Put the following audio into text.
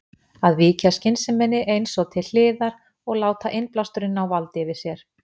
Að víkja skynseminni eins og til hliðar og láta innblásturinn ná valdi yfir sér.